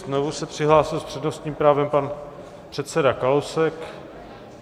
Znovu se přihlásil s přednostním právem pan předseda Kalousek.